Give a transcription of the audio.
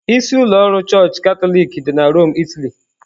Isi ụlọ ọrụ Chọọchị Katọlik dị na Rome, Italy.